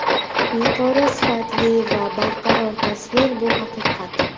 Yuqori sifatli va barqaror tasvir bu haqiqat!